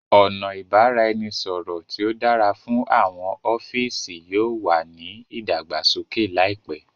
ọna ibaraẹnisọrọ ti o dára fún àwọn ọfiisi yóò wá ní ìdàgbàsókè láìpé